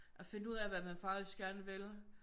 At finde ud af hvad man faktisk gerne vil